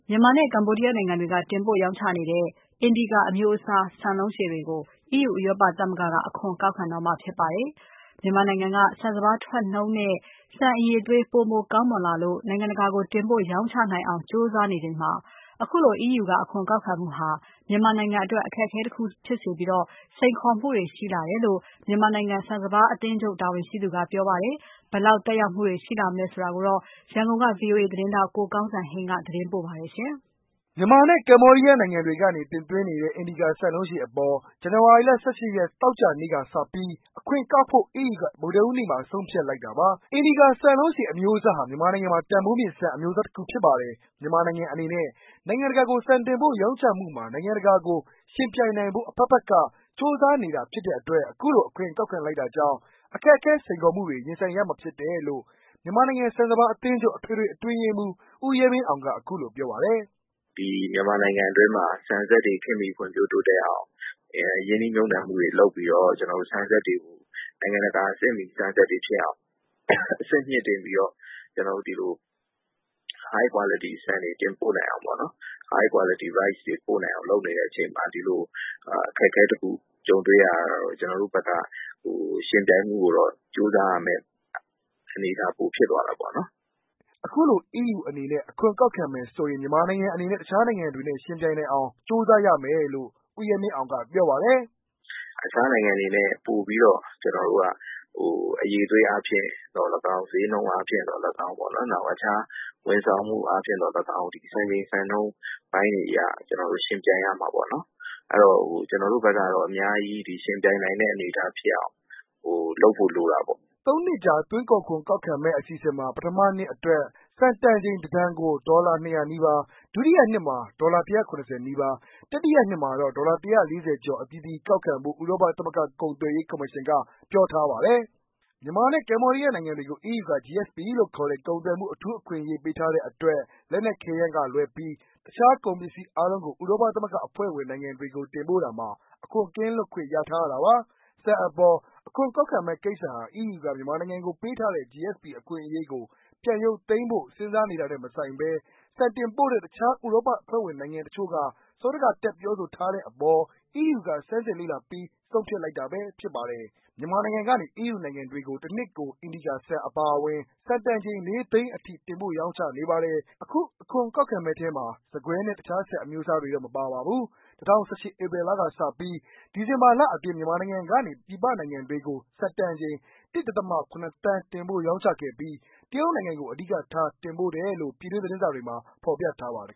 မြန်မာနဲ့ ကမ္ဘောဒီးယားက တင်ပို့ရောင်းချနေတဲ့ အင်ဒီကာ (Indica) လို့ခေါ်တဲ့ ဆန်လုံးရှည် တင်ပို့မှု ကို အခွန်ကောက်ခံတော့မှာဖြစ်ပါတယ်။ မြန်မာနိုင်ငံအနေနဲ့ ဆန်စပါးထွက်နှုန်းနဲ့ ဆန်အရည်အသွေး ပိုမိုကောင်းမွန်လာပြီး နိုင်ငံတကာကို တင်ပို့ရောင်းချနိုင်အောင် ကြိုးစားနေချိန်မှာ အခုလိုအခွန်ကောက်ခံမှုဟာ မြန်မာနိုင်ငံအတွက် အခက်အခဲတစ်ခု ဖြစ်စေပြီး စိန်ခေါ်မှုတွေရှိလာတယ်လို့ မြန်မာနိုင်ငံ ဆန်စပါးအသင်းချုပ် အထွေထွေအတွင်းရေးမှူးက ပြောပါတယ်။ ဒီအကြောင်း ဗွီအိုအေ မြန်မာပိုင်းသတင်းထောက် ကိုကောင်းစံဟိန်းက ရန်ကုန်မြို့ကနေ သတင်းပေးပို့ထားပါတယ်။ မြန်မာနဲ့ ကမ္ဘောဒီးယားနိုင်ငံတွေကနေ တင်သွင်းနေတဲ့ အင်ဒီကာ ဆန်လုံးရှည်အပေါ် ဇန်နဝါရီလ ၁၈ ရက်၊ သောကြာနေ့ကစပြီး အခွန်ကောက်ဖို့ EU က ဗုဒ္ဓဟူးနေ့မှာ ဆုံးဖြတ်လိုက်တာပါ။ အင်ဒီကာ ဆန်လုံးရှည်အမျိုးအစားဟာ မြန်မာနိုင်ငံမှာ တန်ဖိုးမြင့် ဆန်အမျိုးအစားတစ်ခုဖြစ်ပါတယ်။ မြန်မာနိုင်ငံအနေနဲ့ နိုင်ငံတကာကို ဆန်တင်ပို့ရောင်းချမှုမှာ နိုင်ငံတကာကို ယှဉ်ပြိုင်နိုင်ဖို့ အဖက်ဖက်က ကြိုးစားနေတာဖြစ်တဲ့အတွက် အခုလို အခွန်ကောက်ခံလိုက်တာကြောင့် အခက်အခဲ စိန်ခေါ်မှုတွေနဲ့ ရင်ဆိုင်ရမှာဖြစ်တယ်လို့ မြန်မာနိုင်ငံ ဆန်စပါးအသင်းချုပ် အထွေထွေအတွင်းရေမှူး ဦးရဲမင်းအောင်က အခုလို ပြောပါတယ်။ " ဒီမြန်မာနိုင်ငံ အတွင်းမှာ ဆန်စက်တွေ ဖွံ့ဖြိုးတိုးတက်အောင် ရင်းနှီးမြှုံနှံမှုတွေ လုပ်ပီးတော့ ဆန်စက်တွေကို နိုင်ငံတကာ အဆင့်မီအောင် High quality ဆန်တွေတင်ပို့နိုင်အောင်ပေ့ါနော် လုပ်နေတဲ့အချိန်မှာ ဒီလိုအခက်အခဲတစ်ခု ကြုံတွေ့ရတာကတော့ ကျနော်တို့ဘက်က ယှဉ်ပြိုင်မှုကို ပိုကြိုးစားရမယ့်အနေအထား ဖြစ်သွားတာပေါ့နော်။" အခုလို EU အနေနဲ့ အခွန်ကောက်ခံမယ်ဆိုရင် မြန်မာနိုင်ငံအနေနဲ့ တခြားနိုင်ငံတွေနဲ့ ယှဉ်ပြိုင်နိုင်အောင်ပိုကြိုးစားရရမယ်လို့ ဦးရဲမင်းအောင်က ပြောပါတယ်။ "တခြားနိုင်ငံတွေထက် ပိုပီးတော့ ကျနော်တို့က ဈေးနှုန်းအားဖြင့်သော်လည်းကောင်း၊ဝန်ဆောင်မှုအားဖြင့်သော်လည်းကောင်း၊ Qualityအားဖြင့်သော်လည်းကောင်း စံချိန်စံနှုန်းပိုင်းတွေအရ ယှဉ်ပြိုင်ရမှပေါ့နော်။ကျနော်တို့ဘက်ကတော့ ယှဉ်ပြိုင်နိုင်တဲ့ အနေအထားဖြစ်အောင် ကျနော်တို့က အများကြီး ကြိုးစားရမှာပေါ့နော်။" သုံးနှစ်ကြာ သွင်းကုန်ခွန်ကောက်ခံမယ့် အစီအစဉ်မှာ ပထမနှစ်အတွက် ဆန်တန်ချန် တတန်ကို ဒေါ်လာ ၂၀၀နီးပါး ၊ဒုတိယနှစ်မှာ ဒေါ်လာ ၁၇၀နီးပါး ၊တတိယနှစ်မှာတော့ ဒေါ်လာ၁၄၀ကျော် အသီးသီးကောက်ခံဖို့ ဥရောပသမဂ္ဂ ကုန်သွယ်ရေးကော်မရှင်ကပြောထားပါတယ်။ မြန်မာနဲ့ ကမ္ဘောဒီးယားနိုင်ငံတွေကို EU က GSP လို့ခေါ်တဲ့ ကုန်သွယ်မှု အထူးအခွင့်အရေး ပေးထားတဲ့အတွက် လက်နက်ခဲယမ်း ကလွဲပြီး တခြားကုန်ပစ္စည်းအားလုံးကို ဥရောပသမဂ္ဂအဖွဲ့ဝင်နိုင်ငံတွေကို တင်ပို့တာမှာ အခွန်ကင်းလွတ်ခွင့် ရထားတာပါ။ ဆန် အပေါ် အခွန်ကောက်ခံမယ့်ကိစ္စဟာ EU က မြန်မာနိုင်ငံကိုပေးထားတဲ့ GSP အခွင့်အရေးကို ပြန်ရုပ်သိမ်းဖို့ စဉ်းစားနေတာနဲ့ မဆိုင်ဘဲ ဆန်တင်ပို့တဲ့ တခြား ဥရောပအဖွဲ့ဝင်နိုင်ငံတချို့ဘက်က စောဒကတက် ပြောဆိုထားတဲ့အပေါ် EU က ဆန်းစစ်လေ့လာ ပြီး ဆုံးဖြတ်လိုက်တာဖြစ်ပါတယ်။ မြန်မာနိုင်ငံကနေ EU နိုင်ငံတွေကို တစ်နှစ်ကို အင်ဒီကာဆန်အပါအဝင် ဆန်တန်ချိန်လေးသိန်းအထိ တင်ပို့ရောင်းချနေပါတယ်။ အခု အခွန်ကောက်မယ့်ထဲမှာ ဆန်ကွဲနဲ့ တခြားဆန်အမျိုးအစားတွေတော့ မပါပါဘူး။ ၂၀၁၈ ဧပြီလကစပြီး ဒီဇင်ဘာလအတွင်း မြန်မာနိုင်ငံကနေ ပြည်ပနိုင်ငံတွေကို ဆန်တန်ချိန် ၁ ဒဿမ ၇ သန်းတင်ပို့ရောင်းချခဲ့ပြီး တရုတ်နိုင်ငံကို အဓိကထားတင်ပို့တယ်လို့ ပြည်တွင်းသတင်းတွေမှာ ဖော်ပြထားပါတယ်